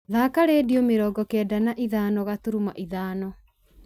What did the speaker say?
thaaka rĩndiũ mĩrongo kenda na ithano gaturumo ithano